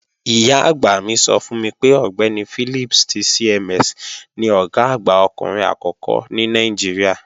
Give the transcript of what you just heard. Ìyá-àgbà mi sọ fún mi pé Ọ̀gbẹ́ni Philips ti CMS ni Ọ̀gá àgbà ọkùnrin àkọ́kọ́ ní Nàìjíríà